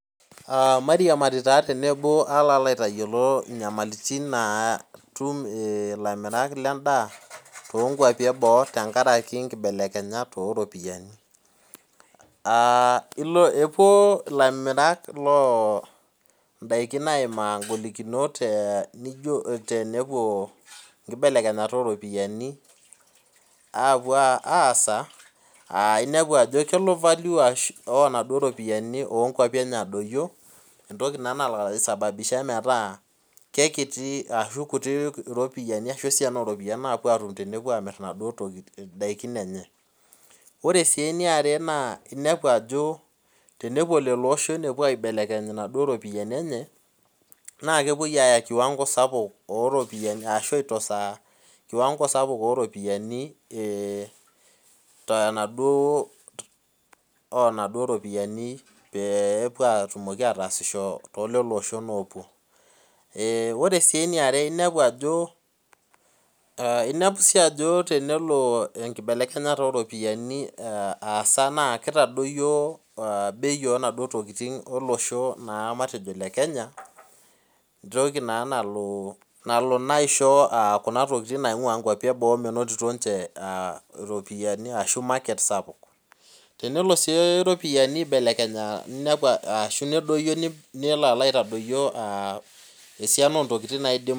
Aa mairiamari tenebo palo aitayiolo nyamalitin natum lairemok lendaa tenkaraki nkibalekenyat oropiyiani aa epuo lamirak lindakin aimaa ngolikinot tenelo nlibelekenya oropiyani aasa aa inepu ajo kelo value oropiyiani adoyio entoki naa nalo aisababisha ashu kekiti esiana oropiyiani napuo atum tenepuo amir naduo tokitin ore si eniare na tenepuo loshon apuo aibelekeny naduo ropiyiani enye namepuoi aya kiwango sapuk oropiyiani tenaduo onaduo ropiyani petum ashomo ataasisbo tolishon opuo ore si eniare inepu ajo tenelo enkibelekenyata oropiyiani aibelekenya na kitadoyio bei onaduo tokitin namatejo lekenya emtoki nalo aisho kuna tokitin mintoto ropiyani tenelo si ropiyani aibelekenya ashu nedoyio nelo aitadoyio esiana ontokitin naidim